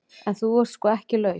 En þú ert sko ekki laus.